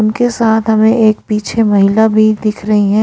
उनके साथ हमें एक पीछे महिला भी दिख रही हैं।